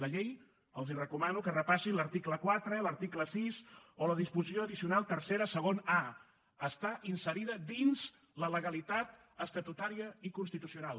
la llei els recomano que repassin l’article quatre l’article sis o la disposició addicional tercera segon a està inserida dins la legalitat estatutària i constitucional